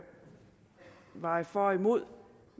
veje for og imod